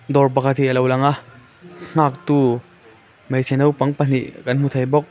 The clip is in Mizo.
dawr pakhat hi alo langa nghak tu hmeichhe naupang pahnih kan hmu thei bawk.